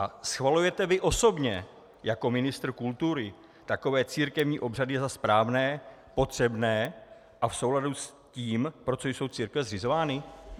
A schvalujete vy osobně jako ministr kultury takové církevní obřady za správné, potřebné a v souladu s tím, pro co jsou církve zřizovány?